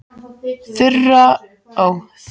Þura og Nonni urðu ofsalega hissa.